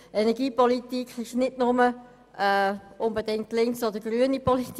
Energiepolitik ist nicht zwingend nur linke oder grüne Politik.